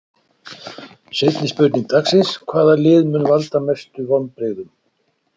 Seinni spurning dagsins: Hvaða lið mun valda mestu vonbrigðum?